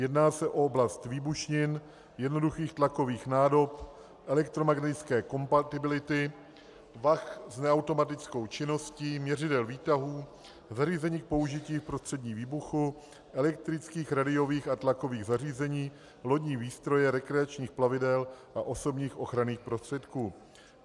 Jedná se o oblast výbušnin, jednoduchých tlakových nádob, elektromagnetické kompatibility, vah s neautomatickou činností, měřidel výtahů, zařízení k použití v prostředí výbuchu, elektrických rádiových a tlakových zařízení, lodní výstroje rekreačních plavidel a osobních ochranných prostředků.